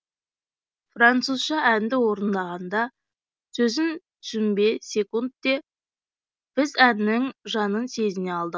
французша әнді орындағанда сөзін түсінбесекунд те біз әннің жанын сезіне алдық